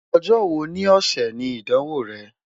Ọjọ wo ni ọsẹ ni Idanwo rẹ?